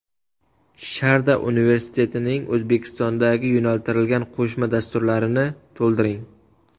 Sharda universitetining O‘zbekistondagi yo‘naltirilgan qo‘shma dasturlarini to‘ldiring.